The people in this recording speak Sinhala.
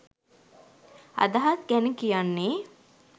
අදහස් ගැන කියන්නේ.